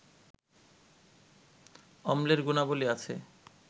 অম্লের গুণাবলি আছে